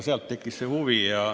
Sealt tekkis see huvi.